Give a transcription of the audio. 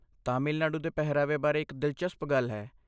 ਤਾਮਿਲਨਾਡੂ ਦੇ ਪਹਿਰਾਵੇ ਬਾਰੇ ਇੱਕ ਦਿਲਚਸਪ ਗੱਲ ਹੈ।